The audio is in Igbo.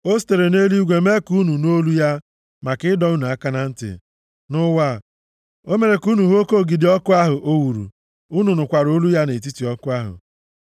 O sitere nʼeluigwe mee ka unu nụ olu ya maka ịdọ unu aka na ntị. Nʼụwa, o mere ka unu hụ oke ogidi ọkụ ahụ o wuru, unu nụkwara olu ya nʼetiti ọkụ ahụ.